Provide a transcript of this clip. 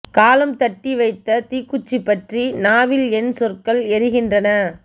காலம் தட்டி வைத்த தீக்குச்சி பற்றி நாவில் என் சொற்கள் எரிகின்றன